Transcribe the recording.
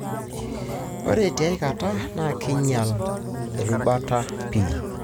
ore tiaikata, na kinyiala irubat pii.